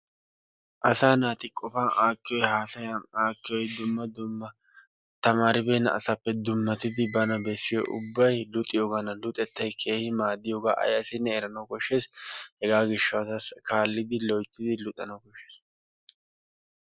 Asaa naati qofan aakiyoy haasayaan aakkiyoy dumma dumma tamaribenna asappe dummattidi bana bessiyoy ubbay luxxiyoogaadan luxxettay keehi maaddiyoogaa ay asinne eranawu koshshees. Hegaa gishshawu kaallidi loyttidi luxxanawu koshshees.